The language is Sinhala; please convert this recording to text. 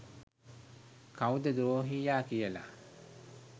කව්ද ද්‍රෝහියා කියලා.